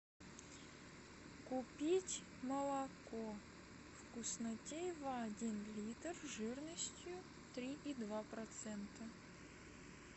купить молоко вкуснотеево один литр жирностью три и два процента